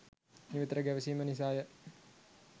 නිතර ගැවසීම නිසාය